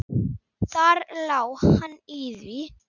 Þar lá hann í því!